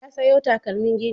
Ya sayo takalman gini.